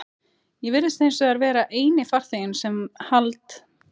Ég virðist hinsvegar vera eini farþeginn sem hald